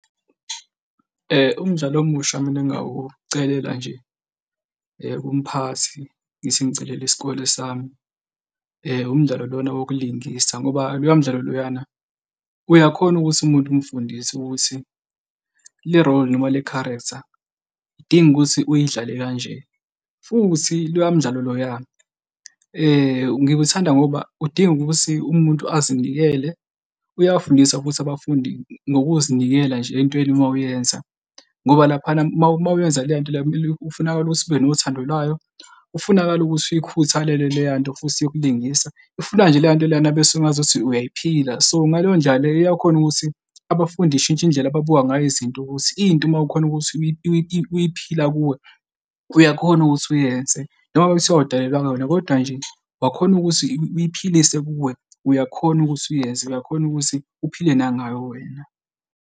Umdlalo omusha mina ngingawucelela nje kumphathi ngithi ngicelela isikole sami. Umdlalo lona wokulingisa ngoba loya mdlalo loyana uyakhona ukuthi umuntu umfundise ukuthi le-role noma le-character idinga ukuthi uyidlale kanje. Futhi loya mdlalo loya ngiwuthanda ngoba udinga ukuthi umuntu azinikele uyafundisa ukuthi abafundi ngokuzinikela nje entweni uma uyenza ngoba laphana uma, uma uyenza le nto le kumele kufunakala ukuthi ube nothando lwayo kufunakala ukuthi uyikhuthalele leya nto futhi yokulungisa, ifuna nje leya nto leyana kube sengazuthi uyayiphila. So, ngaleyo ndlela leyo iyakhona ukuthi abafundi ishintshe indlela ababuka ngayo izinto ukuthi into uma ukhona ukuthi uyiphila kuwe uyakhona ukuthi uyenze, noma ngabe kuthiwa awudalelwanga wena, kodwa nje ungakhona ukuthi uyiphilise kuwe uyakhona ukuthi uyenze uyakhona ukuthi uphile nangayo wena.